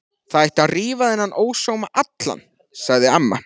Það ætti að rífa þennan ósóma allan, sagði amma.